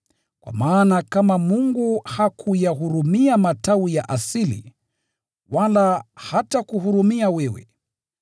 Kwa maana kama Mungu hakuyahurumia matawi ya asili, wala hatakuhurumia wewe.